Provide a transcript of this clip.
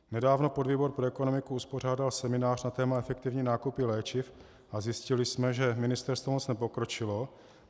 Nedávno podvýbor pro ekonomiku uspořádal seminář na téma efektivní nákupy léčiv a zjistili jsme, že ministerstvo moc nepokročilo.